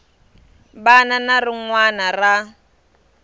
wana na rin wana ra